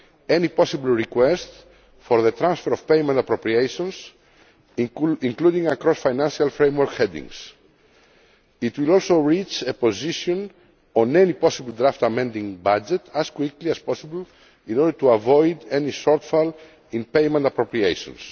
any possible request for the transfer of payment appropriations, including across financial framework headings. It will also reach a position on any possible draft amending budget as quickly as possible in order to avoid any shortfall in payment appropriations.